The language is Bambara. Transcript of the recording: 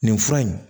Nin fura in